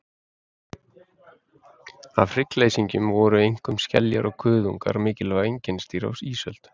Af hryggleysingjum voru einkum skeljar og kuðungar mikilvæg einkennisdýr á ísöld.